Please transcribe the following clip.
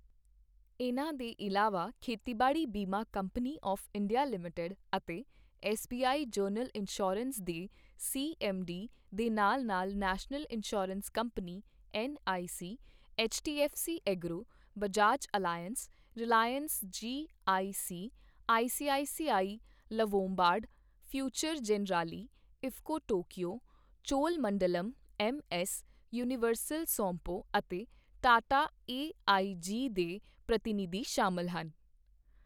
ਇਨ੍ਹਾਂ ਦੇ ਇਲਾਵਾ ਖੇਤੀਬਾੜੀ ਬੀਮਾ ਕੰਪਨੀ ਆਵ੍ ਇੰਡੀਆ ਲਿਮਿਟਿਡ ਅਤੇ ਐੱਸਬੀਆਈ ਜਨਰਲ ਇੰਸ਼ੋਰੈਂਸ ਦੇ ਸੀਐੱਮਡੀ ਦੇ ਨਾਲ ਨਾਲ national insurance company NIC, HDFC agro, Bajaj Allianz, Reliance GIC, ICICI Lombard, future Generali, IFFCO Tokio, Cholamandalam MS, universal Sompo ਅਤੇ ਟਾਟਾ ਏਆਈਜੀ ਦੇ ਪ੍ਰਤੀਨਿਧੀ ਸ਼ਾਮਲ ਹਨ।